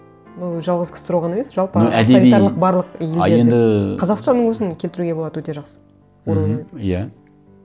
ну жалғыз ксро ғана емес жалпы авторитарлық барлық елдерді қазақстанның өзін келтіруге болады өте жақсы оруэллмен мхм иә